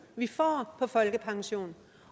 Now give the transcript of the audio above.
vi får på folkepension